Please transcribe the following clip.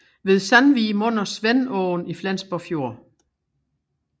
Ved Sandvig munder Svendåen i Flensborg Fjord